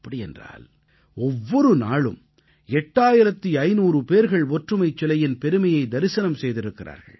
அப்படியென்றால் ஒவ்வொரு நாளும் 8500 பேர்கள் ஒற்றுமைச் சிலையின் பெருமையை தரிசனம் செய்திருக்கிறார்கள்